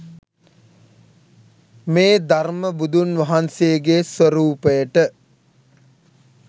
මේ ධර්ම බුදුන් වහන්සේගේ ස්වරූපයට